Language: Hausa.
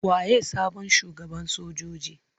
Waye sabon shugaban sojojin?